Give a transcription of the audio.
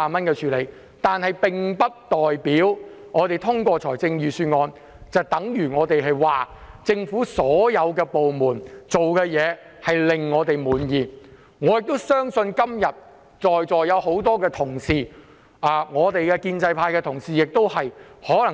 可是，我們支持通過預算案，並不代表政府所有部門做的事皆令我們滿意，我相信今天很多在席同事，包括建制派同事，